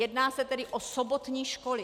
Jedná se tedy o sobotní školy.